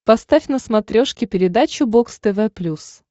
поставь на смотрешке передачу бокс тв плюс